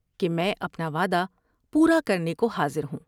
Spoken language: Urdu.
کہ میں اپنا وعدہ پورا کرنے کو حاضر ہوں ۔